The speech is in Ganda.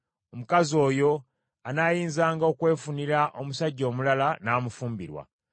omukazi oyo anaayinzanga okwefunira omusajja omulala n’amufumbirwa.